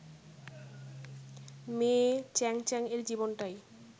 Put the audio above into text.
মেয়ে চ্যাং চ্যাং-এর জীবনটাই